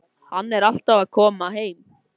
Hann er alltaf að koma heim.